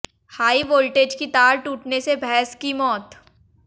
high voltage की तार टूटने से भैंस की मौत